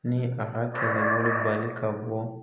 Ni a ka bali ka bɔ